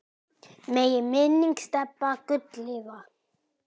Megi minning Stebba Gull lifa.